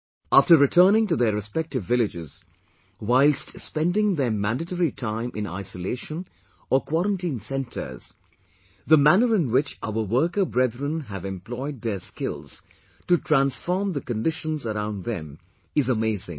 After returning to their respective villages, whilst spending their mandatory time in isolation or quarantine centres, the manner in which our worker brethren have employed their skills to transform the conditions around them is amazing